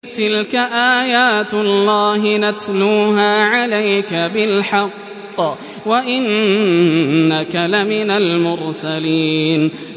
تِلْكَ آيَاتُ اللَّهِ نَتْلُوهَا عَلَيْكَ بِالْحَقِّ ۚ وَإِنَّكَ لَمِنَ الْمُرْسَلِينَ